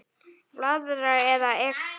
Blaðra eða Ek?